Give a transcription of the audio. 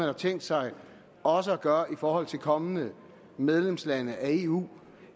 har tænkt sig også at gøre i forhold til kommende medlemslande af eu